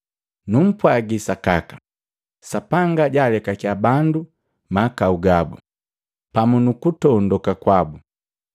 “Numpwagi sa sakaka, Sapanga jaalekakya bandu mahakau gabu pamu nukuntondoka kwabu,